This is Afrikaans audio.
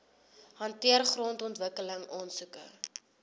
hanteer grondontwikkeling aansoeke